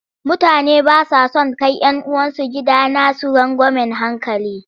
Mutane ba sa son kai 'yan uwansu gidanasu rangwamen hankali.